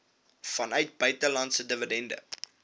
vanuit buitelandse dividende